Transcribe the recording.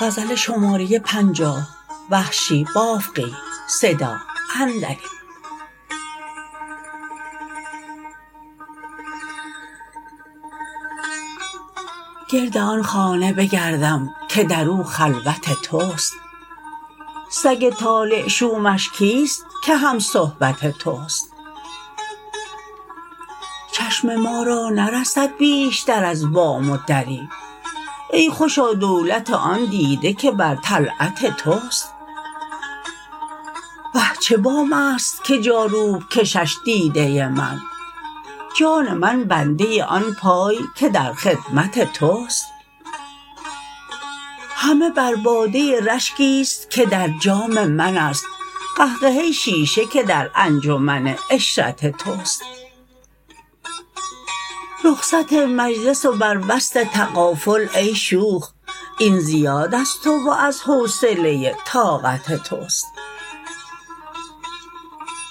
گرد آن خانه بگردم که در او خلوت تست سگ طالع شومش کیست که همصحبت تست چشم ما را نرسد بیشتر از بام و دری ای خوشا دولت آن دیده که برطلعت تست وه چه بامست که جاروب کشش دیده من جان من بنده آن پای که در خدمت تست همه بر باده رشکیست که در جام منست قهقه شیشه که در انجمن عشرت تست رخصت مجلس و بر وصل تغافل ای شوخ این زیاد از تو و از حوصله طاقت تست